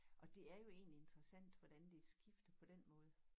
Og det er jo egentlig interessant hvordan det skifter på den måde